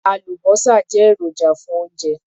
Àlùbọ́sà jẹ́ èròjà fún oúnjẹ.